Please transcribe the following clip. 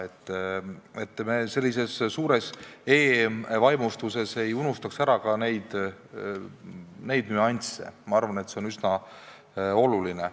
Ühesõnaga, sellises suures e-vaimustuses ei tohi me ära unustada selliseid nüansse – ma arvan, et see on üsna oluline.